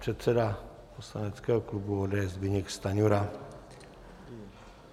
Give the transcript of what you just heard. Předseda poslaneckého klubu ODS Zbyněk Stanjura.